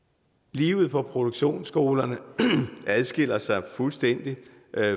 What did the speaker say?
livet på produktionsskolerne adskiller sig jo fuldstændig